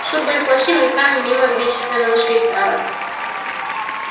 шубы и плащи мелькали мимо величественного швейцара